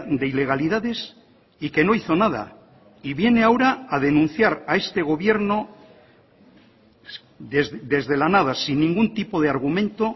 de ilegalidades y que no hizo nada y viene ahora a denunciar a este gobierno desde la nada sin ningún tipo de argumento